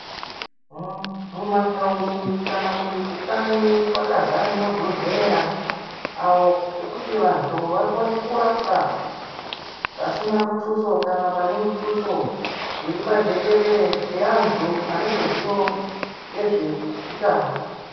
Muu mumataundi kana kuti kukanyi kwakazare mabhodhleya awo ekuti vantu vakone kurapwa pasina mutuso Kana pane mutuso zviri pajekerere ngaantu ane ruziwo ngezveutano.